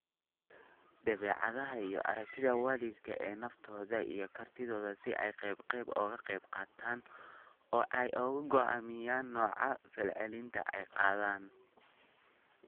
Dabeecadaha iyo aragtida waalidka ee naftooda iyo kartidooda si ay qayb qayb uga qayb qaataan oo ay u go'aamiyaan nooca ficilada ay qaadaan.